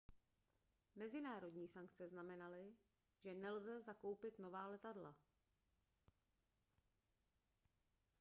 mezinárodní sankce znamenaly že nelze zakoupit nová letadla